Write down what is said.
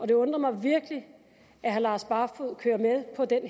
det undrer mig virkelig at herre lars barfoed er med på den